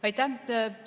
Aitäh!